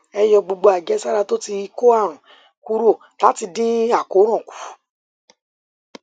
ẹ yọ gbogbo àjẹsára tó ti kó àrùn kúrò láti dín àkóràn kù